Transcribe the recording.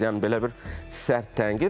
Yəni belə bir sərt tənqid.